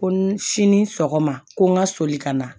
Ko n sini sɔgɔma ko n ka soli ka na